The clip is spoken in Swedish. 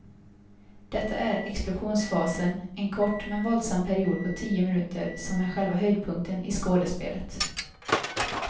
Detta är explosionsfasen, en kort men våldsam period på tio minuter som är själva höjdpunkten i skådespelet.